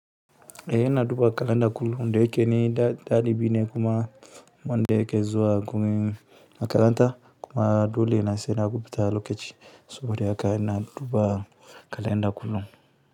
Eh ina duba kalanda kullum da yake ni da ɗalibi ne kuma wanda yake zuwa makaranta kuma dole na sai na rubuta lokaci saboda haka ina duba kalanda kullum.